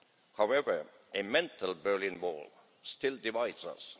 However, a mental Berlin Wall still divides us.